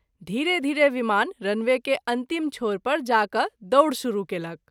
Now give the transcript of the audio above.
धीरे-धीरे विमान runway के अंतिम छोर पर जा क’ दौड़ शुरू केलक।